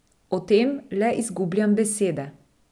O tem le izgubljam besede.